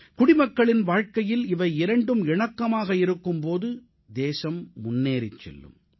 குடிமக்களின் வாழ்க்கையில் இவை இரண்டும் இணக்கமாக இருக்கும் போது தேசம் முன்னேறிச் செல்லும்